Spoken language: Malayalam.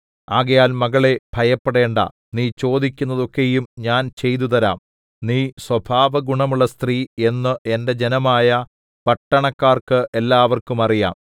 ആകയാൽ മകളേ ഭയപ്പെടേണ്ടാ നീ ചോദിക്കുന്നതൊക്കെയും ഞാൻ ചെയ്തുതരാം നീ സ്വഭാവഗുണമുള്ള സ്ത്രീ എന്നു എന്റെ ജനമായ പട്ടണക്കാർക്ക് എല്ലാവർക്കും അറിയാം